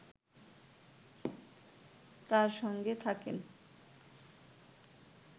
তাঁর সঙ্গে থাকেন